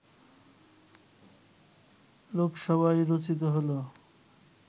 লোকসভায় রচিত হলো